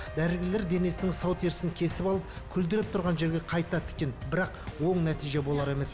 дәрігерлер денесінің сау терісін кесіп алып күлдіреп тұрған жерге қайта тіккен бірақ оң нәтиже болар емес